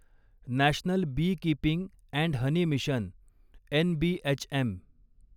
national beekeeping and honey mission NBHM